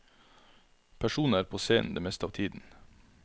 Personene er på scenen det meste av tiden.